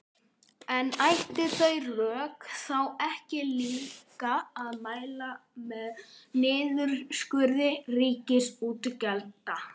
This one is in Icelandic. En ættu þau rök þá ekki líka að mæla með niðurskurði ríkisútgjalda?